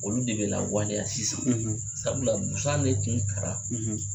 Olu de bɛ lawale sisan sabula busan ne kun ta la